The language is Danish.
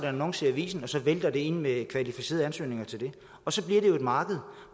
annonce i avisen og så vælter det ind med kvalificerede ansøgninger til det og så bliver det jo et marked